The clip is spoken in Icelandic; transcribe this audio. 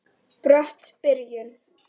Brött byrjun.